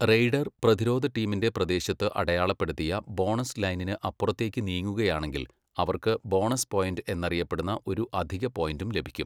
Raider പ്രതിരോധ ടീമിന്റെ പ്രദേശത്ത് അടയാളപ്പെടുത്തിയ ബോണസ് ലൈനിന് അപ്പുറത്തേക്ക് നീങ്ങുകയാണെങ്കിൽ, അവർക്ക് ബോണസ് പോയൻറ് എന്നറിയപ്പെടുന്ന ഒരു അധിക പോയിന്റും ലഭിക്കും.